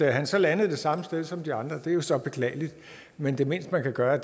han så landede det samme sted som de andre er jo så beklageligt men det mindste man kan gøre